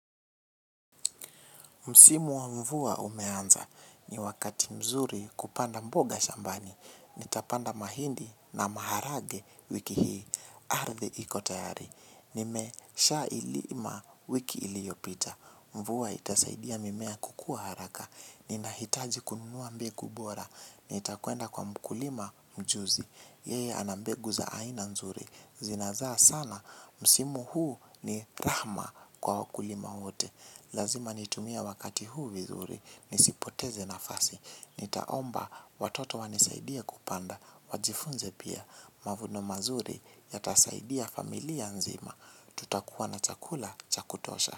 Msimu wa mvua umeanza. Ni wakati mzuri kupanda mboga shambani. Nitapanda mahindi na maharage wiki hii. Ardhi iko tayari. Nimesha ilima wiki iliyopita. Mvua itasaidia mimea kukua haraka. Ninahitaji kununua mbegu bora. Nitakwenda kwa mkulima mjuzi. Yeye ana mbegu za aina nzuri. Zinazaa sana. Msimu huu ni rahma kwa wakulima wote. Lazima nitumie wakati huu vizuri, nisipoteze nafasi, nitaomba watoto wanisaidie kupanda, wajifunze pia, mavuno mazuri yatasaidia familia nzima, tutakuwa na chakula chakutosha.